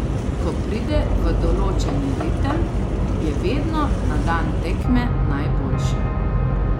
Ko pride v določeni ritem, je vedno na dan tekme najboljši.